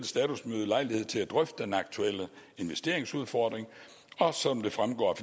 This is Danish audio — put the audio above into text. statusmøde lejlighed til at drøfte den aktuelle investeringsudfordring og som det fremgår af